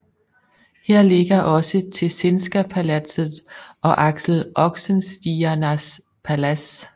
Her ligger også Tessinska palatset og Axel Oxenstiernas Palads